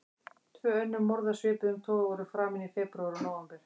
Tvö önnur morð af svipuðum toga voru framin í febrúar og nóvember.